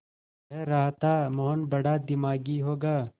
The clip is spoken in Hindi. कह रहा था मोहन बड़ा दिमागी होगा